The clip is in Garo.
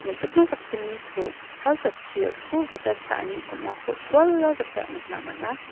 me·chikma sakgniko sal jatchio skul gita cha·ani on·ako suala gita nikna man·a.